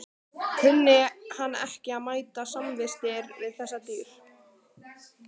Kunni hann ekki að meta samvistir við þessi dýr.